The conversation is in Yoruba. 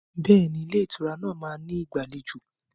Bẹ́ẹ̀ni, Ilé ìtura náà máa ní ìgbàlejò.